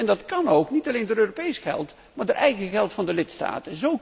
Dat kan ook, niet alleen door Europees geld, maar door eigen geld van de lidstaat.